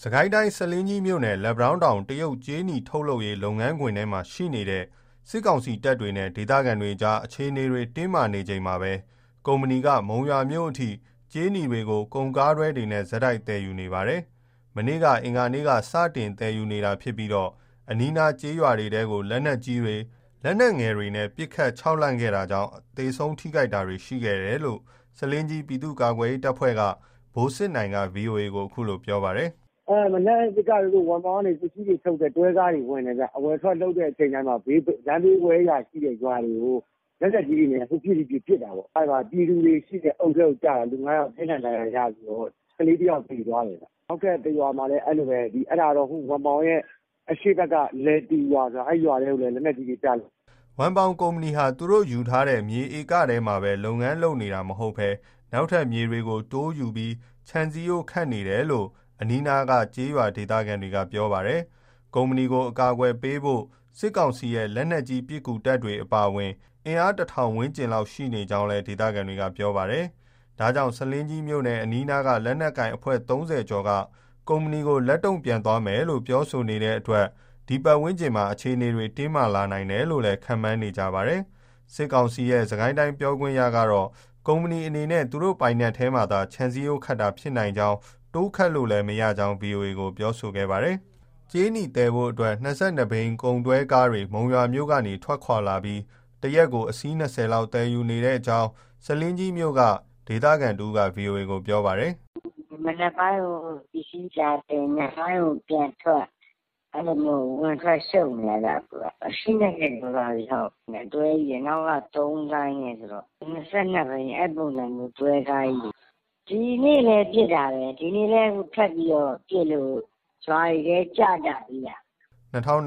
စစ်ကိုင်းတိုင်း၊ ဆားလင်းကြီးမြို့နယ်၊ လက်ပံတောင်းတောင် တရုတ်ကြေးနီ ထုတ်လုပ်ရေး လုပ်ငန်းခွင်ထဲမှာ ရှိနေတဲ့ စစ်ကောင်စီတပ်တွေနဲ့ ဒေသခံတွေကြား အခြေအနေတွေ တင်းမာနေချိန်မှာပဲ ကုမ္ပဏီက မုံရွာမြို့အထိ ကြေးနီတွေကို ကုန်ကားတွဲတွေနဲ့ ဆက်တိုက် သယ်ယူနေ ပါတယ်။ မနေ့ အင်္ဂါနေ့က စတင် သယ်ယူနေတာဖြစ်ပြီး အနီးနားက ကျေးရွာတွေထဲကို လက်နက်ကြီး၊ လက်နက်ငယ်တွေနဲ့ ပစ်ခတ် ခြောက်လှန့်ခဲ့တာကြောင့် သေဆုံး ထိခိုက်တာတွေ ရှိခဲ့တယ်လို့ ဆားလင်းကြီး ပြည်သူ့ကာကွယ်ရေး တပ်ဖွဲ့က ဗိုလ်စစ်နိုင်က ဗွီအိုအေကို ခုလို ပြောပြပါတယ်။ " မနက်က ဝမ်ပေါင်ကနေ ပစ္စည်းတွေသယ်တယ်။ တွဲကားတွေထုတ်တယ်။ အဝင် အထွက် လုပ်တဲ့အချိန် လမ်းဘေးဝဲယာက ရွာတွေကို လက်နက်ကြီးတွေနဲ့ ဟိုပစ်၊ ဒီပစ် ပစ်တာပေါ့။ အဲဒါ ပြည်သူတွေရှိတဲ့ အုပ်ထဲကိုကျတာ လူ ငါးယောက် ထိခိုက်ဒဏ်ရာ ရပြီးတော့ ကလေးတယောက် သေသွားတယ်။ နောက်ထပ် တရွာမှာလည်း အဲလိုပဲ အဲဒါက ဝမ်ပေါင်ရဲ့ အရှေ့ဘက်က ရွာထဲကို လက်နက်ကြီးတွေ ကျလို့။" ဝမ်ပေါင်ကုမ္ပဏီဟာ သူတို့ ယူထားတဲ့ မြေဧကထဲမှာပဲ လုပ်ငန်းလုပ်နေတာ မဟုတ်ဘဲ နောက်ထပ် မြေတွေကို တိုးယူပြီး ခြံစည်းရိုး ခတ်နေတယ်လို့ အနီးနားက ကျေးရွာဒေသခံတွေက ပြောပါတယ်။ ကုမ္ပဏီကို အကာအကွယ်ပေးဖို့ စစ်ကောင်စီရဲ့ လက်နက်ကြီး ပစ်ကူတပ်တွေ အပါအဝင် အင်အား ၁,၀၀၀ ဝန်းကျင်လောက် ရှိနေကြောင်းလည်း ဒေသခံတွေက ပြောပါတယ်။ ဒါကြောင့် ဆားလင်းကြီးမြို့နယ် အနီးနားက လက်နက်ကိုင် အဖွဲ့ ၃၀ ကျော်က ကုမ္ပဏီကို လက်တုံ့ပြန်သွားမယ်လို့ ပြောဆိုနေတဲ့အတွက် ဒီပတ်ဝန်းကျင်မှာ အခြေအနေတွေ တင်းမာလာနိုင်တယ်လို့ ခန့်မှန်းနေကြပါတယ်။ စစ်ကောင်စီရဲ့ စစ်ကိုင်းတိုင်း ပြောခွင့်ရကတော့ ကုမ္ပဏီအနေနဲ့ သူတို့ပိုင်နက်ထဲမှာသာ ခြံစည်းရိုးခတ်တာ ဖြစ်နိုင်ကြောင်း၊ တိုးခတ်လို့လည်း မရနိုင်ကြောင်း ဗွီအိုအေကို ပြောခဲ့ပါတယ်။ ကြေးနီသယ်ဖို့အတွက် ၂၂ ဘီး ကုန်တွဲကားတွေ မုံရွာမြို့ကနေ ထွက်လာပြီး၊ တရက်ကို အစီး ၂၀ လောက် သယ်ယူနေကြောင်း ဆားလင်းကြီးမြို့က ဒေသခံတဦးက ဗွီအိုအေကို ပြောပါတယ်။ "မနက်ပိုင်းကို ပစ္စည်းလာတင်၊ ညနေပိုင်းကို ပြန်ထွက် အဲလိုမျိုး အဝင်၊ အထွက် ရှုပ်နေတာဗျ အခုက။ အစီး၂၀ ကျော်သွားပြီ။ တွဲကြီးတွေ နောက်က သုံးဆိုင်းနဲ့ဆိုတော့ တွဲကားကြီးတွေ။ ဒီနေ့လည်း ပစ်တာပဲ ထပ်ပြီးတော့ပစ်လို့ ရွာတွေထဲ ကျကြသေးတာ။" ၂၀၂၂